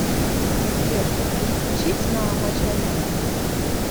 сбер переключить на матч арена